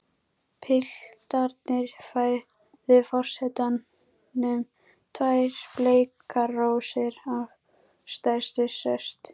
Piltarnir færðu forsetanum tvær bleikar rósir af stærstu sort.